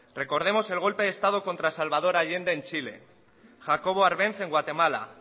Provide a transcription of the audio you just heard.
recordemos el golpe de estado contra salvador allende en chile jacobo árbenz en guatemala